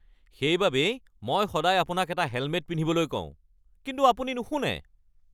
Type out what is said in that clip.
সেইবাবেই মই সদায় আপোনাক হেলমেট এটা পিন্ধিবলৈ কওঁ, কিন্তু আপুনি নুশুনে।